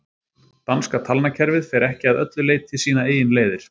danska talnakerfið fer ekki að öllu leyti sínar eigin leiðir